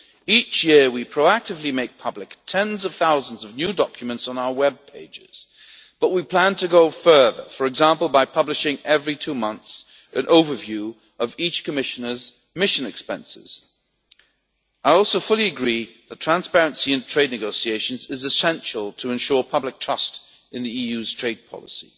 Each year we proactively make public tens of thousands of new documents on our web pages, but we plan to go further, for example, by publishing an overview of each Commissioner's mission expenses every two months. I also fully agree that transparency in trade negotiations is essential to ensure public trust in the EU's trade policy.